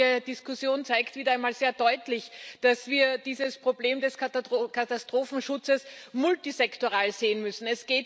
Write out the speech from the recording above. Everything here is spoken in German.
Die heutige Diskussion zeigt wieder einmal sehr deutlich, dass wir dieses Problem des Katastrophenschutzes multisektoral sehen müssen.